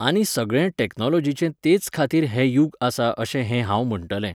आनी सगळें टॅक्नोलोजीचें तेच खातीर हें यूग आसा अशें हे हांव म्हणटलें.